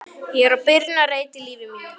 Ég er á byrjunarreit í lífi mínu.